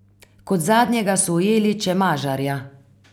Kot zadnjega so ujeli Čemažarja.